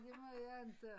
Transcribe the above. Det må jeg inte